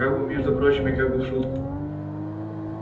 как бы между прочим и как бы в шутку